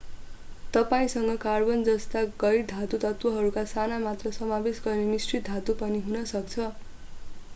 तपाईंसँग carbon जस्ता गैर धातु तत्त्वहरूको सानो मात्रा समावेश गर्ने मिश्रित धातु पनि हुन सक्छ